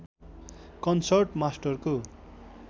concert मास्टरको